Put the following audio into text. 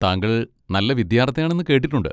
താങ്കൾ നല്ല വിദ്യാർത്ഥിയാണെന്ന് കേട്ടിട്ടുണ്ട്.